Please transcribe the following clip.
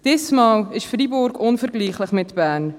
Dieses Mal ist Freiburg offenbar nicht vergleichbar mit Bern.